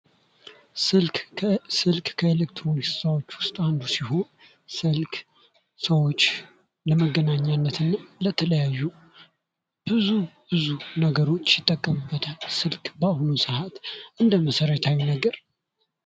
ስልክ ስልክ ከኤሌክትሮኒክስ እቃዎች አንዱ ሲሆን ስልክ ሰዎች ለመገናኘት እና ለተለያዩ ብዙ ብዙ ነገሮች ይጠቀሙበታል ስልክ በአሁኑ ሰአት ለመሠረታዊ ነገር።